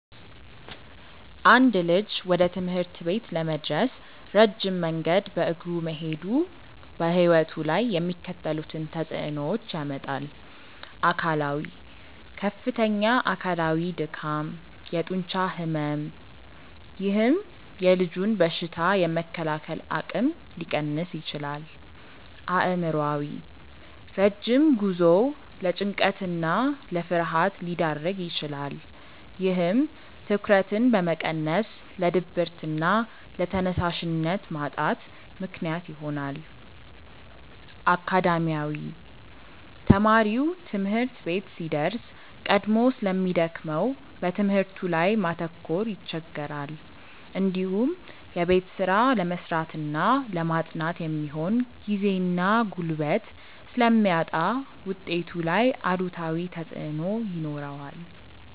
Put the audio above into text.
አንድ ልጅ ወደ ትምህርት ቤት ለመድረስ ረጅም መንገድ በእግሩ መሄዱ በሕይወቱ ላይ የሚከተሉትን ተጽዕኖዎች ያመጣል፦ አካላዊ፦ ከፍተኛ አካላዊ ድካም፣ የጡንቻ ሕመም፥፥ ይህም የልጁን በሽታ የመከላከል አቅም ሊቀንስ ይችላል። አእምሯዊ፦ ረጅም ጉዞው ለጭንቀትና ለፍርሃት ሊዳርግ ይችላል። ይህም ትኩረትን በመቀነስ ለድብርትና ለተነሳሽነት ማጣት ምክንያት ይሆናል። አካዳሚያዊ፦ ተማሪው ትምህርት ቤት ሲደርስ ቀድሞ ስለሚደክመው በትምህርቱ ላይ ማተኮር ይቸገራል። እንዲሁም የቤት ስራ ለመስራትና ለማጥናት የሚሆን ጊዜና ጉልበት ስለሚያጣ ውጤቱ ላይ አሉታዊ ተጽዕኖ ይኖረዋል።